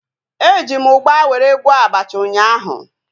Eji m ugba were gwọọ abacha ụnyaahụ